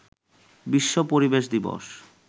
বিশ্ব পরিবেশ দিবস